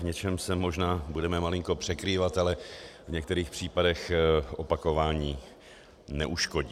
V něčem se možná budeme malinko překrývat, ale v některých případech opakování neuškodí.